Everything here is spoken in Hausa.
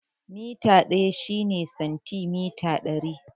Mita ɗaya shine santimita ɗari